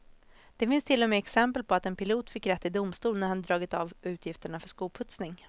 Det finns till och med exempel på att en pilot fick rätt i domstol när han hade dragit av utgifterna för skoputsning.